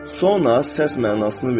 Sonra səs mənasını verir.